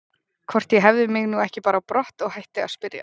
Hvort ég hefði mig nú ekki bara á brott og hætti að spyrja.